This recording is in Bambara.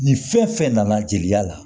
Ni fɛn fɛn nana jeliya la